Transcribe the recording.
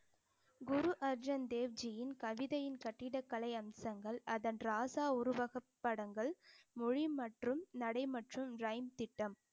குரு அர்ஜன் தேவ்ஜியின் கவிதையின் கட்டிடக்கலை அம்சங்கள் அதன் ராசா உருவகப் படங்கள் மொழி மற்றும் நடை மற்றும் ரயின் திட்டம்